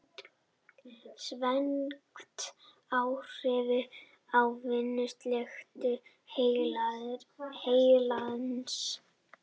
Því hefur svengd áhrif á vinnslugetu heilans.